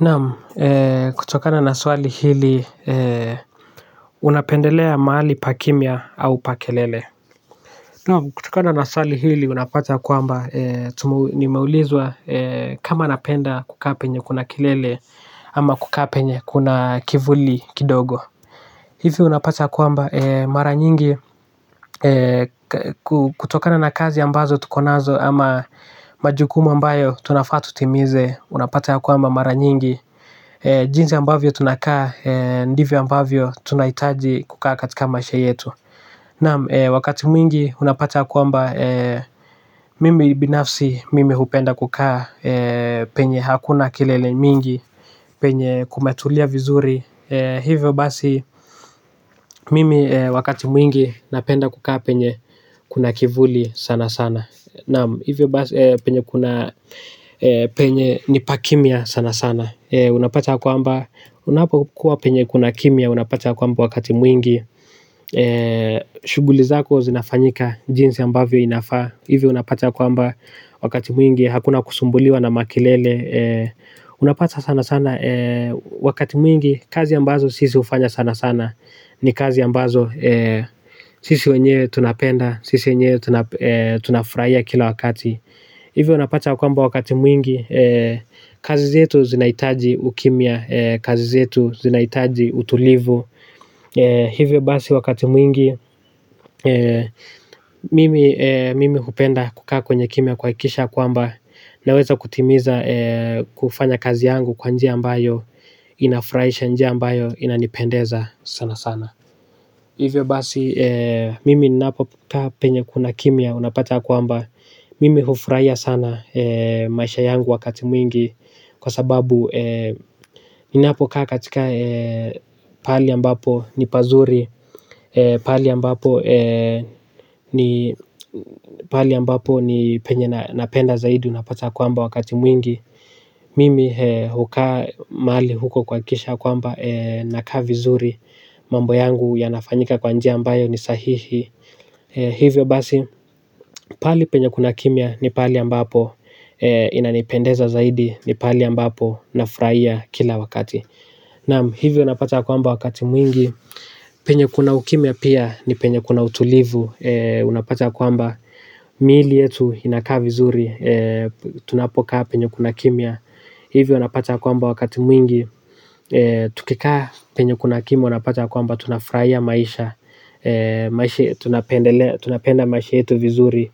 Naam kutokana na swali hili unapendelea mahali pa kimya au pa kelele. Naam kutokana na swali hili unapata ya kwamba ni meulizwa kama napenda kukaa penye kuna kelele ama kukaa penye kuna kivuli kidogo. Hivi unapata ya kwamba mara nyingi kutokana na kazi ambazo tuko nazo ama majukumu ambayo tunafaa tutimize unapata ya kwamba mara nyingi jinsi ambavyo tunakaa, ndivyo ambavyo tunahitaji kukaa katika maisha yetu. Naam, wakati mwingi unapata ya kwamba mimi binafsi mimi hupenda kukaa penye hakuna kelele mingi penye kumetulia vizuri. Hivyo basi mimi wakati mwingi napenda kukaa penye kuna kivuli sana sana. Naam, hivyo basi penye kuna penye ni pakimya sana sana. Unapata kwamba unapokuwa penye kuna kimya. Unapata kwamba wakati mwingi shughuli zako zinafanyika jinsi ambavyo inafaa. Hivyo unapata ya kwamba wakati mwingi hakuna kusumbuliwa na makelele. Unapata sana sana wakati mwingi kazi ambazo sisi hufanya sana sana ni kazi ambazo sisi wenyewe tunapenda. Sisi wenyewe tunafurahia kila wakati. Hivyo unapata kwa mba wakati mwingi. Kazi zetu zinahitaji ukimya kazi zetu zinahitaji utulivu. Hivyo basi wakati mwingi mimi hupenda kukaa kwenye kimya kuhakikisha ya kwamba naweza kutimiza kufanya kazi yangu kwa njia ambayo inafurahisha njia ambayo inanipendeza sana sana hivyo basi mimi ninapokaa penye kuna kimya unapta ya kwamba mimi hufurahia sana maisha yangu wakati mwigi kwa sababu ninapo kaa katika pahali ambapo ni pazuri. Pahali ambapo ni pahali ambapo ni penye na penda zaidi unapata kwamba wakati mwingi. Mimi hukaa mahali huko kuhakikisha kwamba nakaa vizuri. Mambo yangu yanafanyika kwa njia ambayo ni sahihi. Hivyo basi pahali penye kuna kimya ni pahali ambapo inanipendeza zaidi. Ni pahali ambapo nafurahia kila wakati. Naam hivyo unapata kwamba wakati mwingi. Penye kuna ukimya pia ni penye kuna utulivu. Unapata kwamba miili yetu inakaa vizuri. Tunapokaa penye kuna kimya. Hivyo unapata ya kwamba wakati mwingi tukikaa penye kuna kimya unapata ya kwamba tunafurahia maisha. Tunapenda maisha yetu vizuri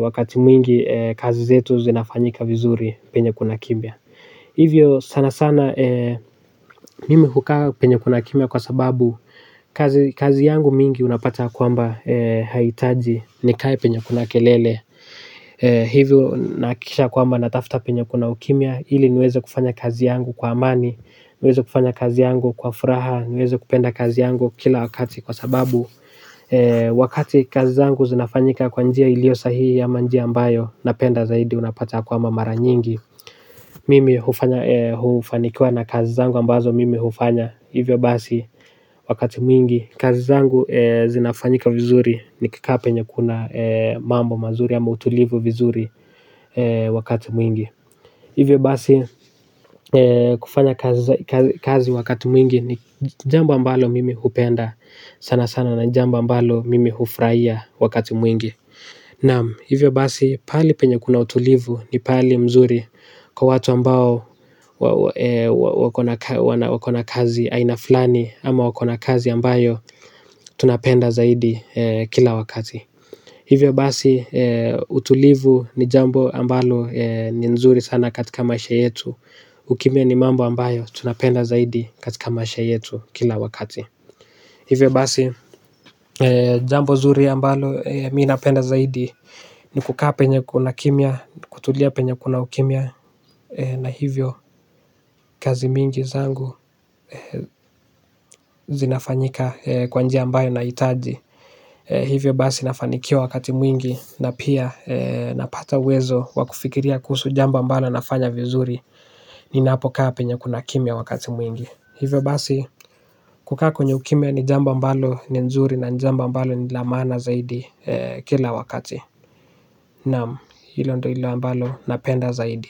wakati mwingi kazi zetu zinafanyika vizuri penye kuna kimya hivyo sanasana mimi hukaa penye kuna kimya kwa sababu kazi yangu mingi unapata ya kwamba haihitaji ni kae penye kuna kelele. Hivyo nahakikisha ya kwamba natafuta penye kuna ukimya ili niwezo kufanya kazi yangu kwa amani. Niwezo kufanya kazi yangu kwa furaha. Niwezo kupenda kazi yangu kila wakati kwa sababu wakati kazi zangu zinafanyika kwa njia iliyo sahihi ama njia ambayo napenda zaidi unapata kwamba mara nyingi mimi hufanikiwa na kazi zangu ambazo mimi hufanya hivyo basi wakati mwingi kazi zangu zinafanyika vizuri ni kikaa penye kuna mambo mazuri ama utulivu vizuri wakati mwingi. Hivyo basi kufanya kazi wakati mwingi ni jambo ambalo mimi hupenda sana sana na ni jambo ambalo mimi hufurahia wakati mwingi. Naam, hivyo basi, pahali penye kuna utulivu ni pahali mzuri kwa watu ambao wako na kazi aina fulani ama wako na kazi ambayo tunapenda zaidi kila wakati. Hivyo basi, utulivu ni jambo ambalo ni nzuri sana katika maisha yetu. Ukimya ni mambo ambayo tunapenda zaidi katika maisha yetu kila wakati. Hivyo basi jambo nzuri ambalo mimi napenda zaidi ni kukaa penye kuna kimya, kutulia penye kuna ukimya na hivyo kazi mingi zangu zinafanyika kwa njia ambayo nahitaji. Hivyo basi nafanikiwa wakati mwingi na pia napata uwezo wa kufikiria kuhusu jambo ambalo nafanya vizuri ninapokaa penye kuna kimya wakati mwingi hivyo basi kukaa kwenye ukimya ni jambo ambalo ni nzuri na ni jambo ambalo ni la maana zaidi kila wakati naam hilo ndilo ambalo napenda zaidi.